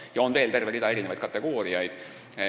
Peale selle on veel terve hulk kategooriaid.